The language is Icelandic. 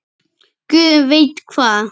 Guð veit hvað!